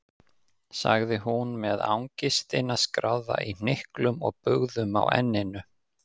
sagði hún með angistina skráða í hnyklum og bugðum á enninu.